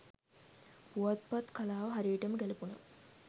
පුවත්පත් කලාව හරියටම ගැලපුන